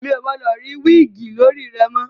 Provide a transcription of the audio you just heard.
Mi ò gbọdọ̀ rí wíìgì lórí rẹ mọ̀!